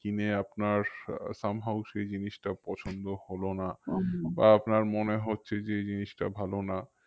কিনে আপনার আহ some how সেই জিনিসটা পছন্দ হলো না বা আপনার মনে হচ্ছে যে এই জিনিসটা ভালো না